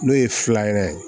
N'o ye filanan ye